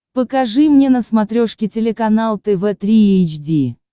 покажи мне на смотрешке телеканал тв три эйч ди